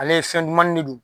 Ale ye fɛn dumani de don